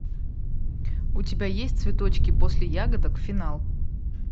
у тебя есть цветочки после ягодок финал